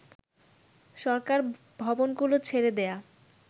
সরকার ভবনগুলো ছেড়ে দেয়া